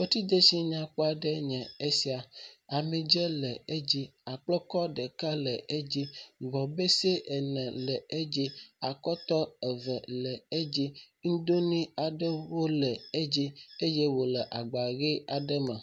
Fetridetsi nyakpɔ aɖee nye esia, ami dzɛ le dzi, akplekɔ ɖeka le edzi, gbɔebese ene le edzi, akɔtɔ eve le edzi, nudonui aɖewo le edzi eye wòle agba ʋi aɖe me.